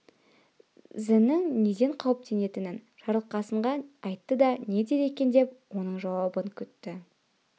зінің неден қауіптенетінін жарылқасынке айтты да не дер екен деп оның жауабын күтті